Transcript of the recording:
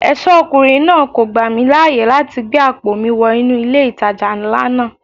Ẹ̀ṣọ́ ọkùnrin náà kò gbà mí láyè láti gbé àpò mi wọ inú ilé ìtajà ńlá náà.